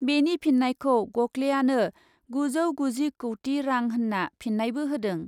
बेनि फिन्नायखौ गकलेआनो गुजौ गुजि कौटि रां होन्ना फिन्नायबो होदों ।